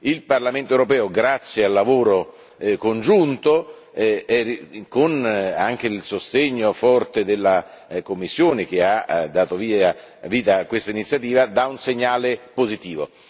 Il Parlamento europeo, grazie al lavoro congiunto e con il sostegno forte della Commissione che ha dato vita a questa iniziativa, dà un segnale positivo.